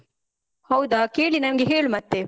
ಹೌದಾ, ಕೇಳಿ ನಂಗೆ ಹೇಳು ಮತ್ತೇ.